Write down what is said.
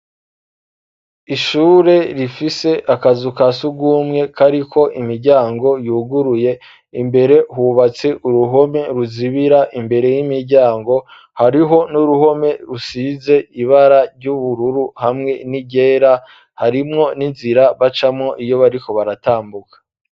Ishure rifise akazu kasugumwe kariko imiryango yuguruye imbere hubatse uruhome ruzibira imbere y'imiryango hariho n'uruhome rusize ibara ry'ubururu hamwe n'iryera harimwo n'inzira bacamo iyo bariko baratambuka.